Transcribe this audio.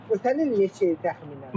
Ötən il neçə idi təxminən?